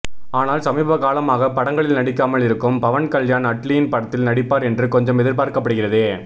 ஆனால் சமீப காலமாக படங்களில் நடிக்காமல் இருக்கும் பவன் கல்யாண் அட்லியின் படத்தில் நடிப்பார் என்று கொஞ்சம் எதிர்பார்க்கபடுகிறது